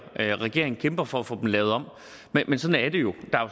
regeringen kæmper for at få dem lavet om men sådan er det jo